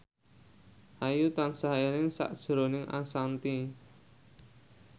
Ayu tansah eling sakjroning Ashanti